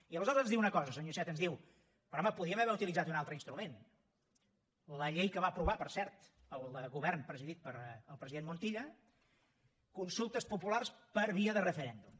i aleshores ens diu una cosa senyor iceta ens diu però home podíem haver utilitzat un altre instrument la llei que va aprovar per cert el govern presidit pel president montilla consultes populars per via de referèndum